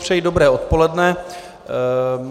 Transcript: Přeji dobré odpoledne.